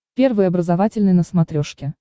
первый образовательный на смотрешке